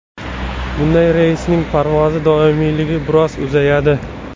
Bunday reysning parvoz davomiyligi biroz uzayadi.